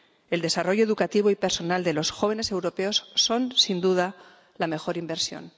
El desarrollo educativo y personal de los jóvenes europeos es, sin duda, la mejor inversión.